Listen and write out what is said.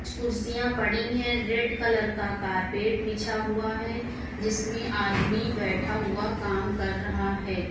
कुर्सियां पड़ी है रेड कलर का कार्पेट बिछा हुआ है जिसमे आदमी बैठा हुआ काम कर रहा है।